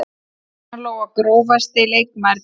Ragna Lóa Grófasti leikmaður deildarinnar?